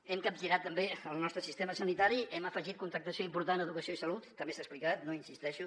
hem capgirat també el nostre sistema sanitari hem afegit contractació important a educació i salut també s’ha explicat no hi insisteixo